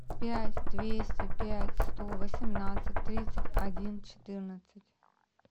пять двести пять сто восемнадцать тридцать один четырнадцать